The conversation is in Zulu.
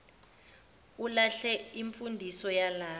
ulahle imfundiso yalapha